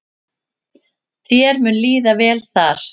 Þér mun líða vel þar.